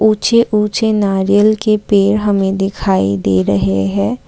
ऊंचे ऊंचे नारियल के पेड़ हमें दिखाई दे रहे है।